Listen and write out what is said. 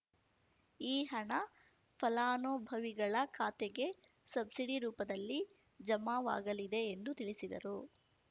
ಈ ಹಣ ಫಲಾನುಭವಿಗಳ ಖಾತೆಗೆ ಸಬ್ಸಿಡಿ ರೂಪದಲ್ಲಿ ಜಮಾವಾಗಲಿದೆ ಎಂದು ತಿಳಿಸಿದರು